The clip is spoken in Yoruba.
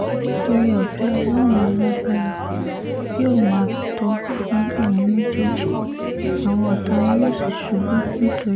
oore-ọ̀fẹ́ ọlọ́run alágbára yóò máa tó fún ẹ̀yin méjèèjì àwọn ọ̀tá yín yóò sì ṣubú nítorí tiyín lórúkọ jésù